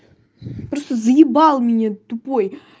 просто заебал меня тупой